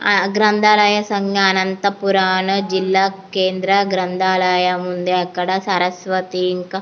ఆ గ్రంధాలయ సంగ అనంతపురాను జిల్లా కేంద్ర గ్రంధాలయం ఉంది. అక్కడ సరస్వతి ఇంకా --